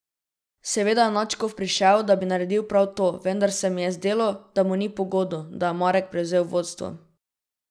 Seveda je nadškof prišel, da bi naredil prav to, vendar se mi je zdelo, da mu ni pogodu, da je Marek prevzel vodstvo.